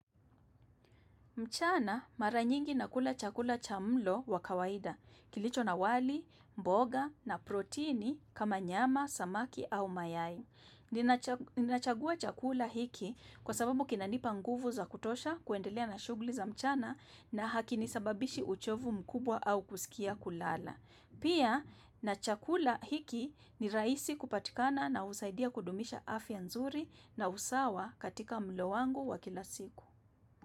Mchana mara nyingi nakula chakula cha mlo wa kawaida, kilicho na wali, mboga na protini kama nyama, samaki au mayai ninacha Ninachagua chakula hiki kwa sababu kinanipa nguvu za kutosha kuendelea na shuguli za mchana na hakinisababishi uchovu mkubwa au kusikia kulala. Pia, na chakula hiki ni rahisi kupatikana na usaidia kudumisha afya nzuri na usawa katika mlo wangu wa kila siku.